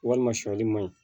Walima sɔli man ɲi